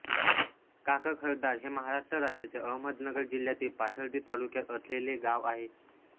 काकखरदार हे महाराष्ट्र राज्याच्या अहमदनगर जिल्ह्यातील पाथर्डी तालुक्यात असलेले गाव आहे